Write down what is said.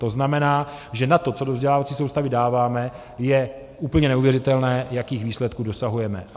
To znamená, že na to, co do vzdělávací soustavy dáváme, je úplně neuvěřitelné, jakých výsledků dosahujeme.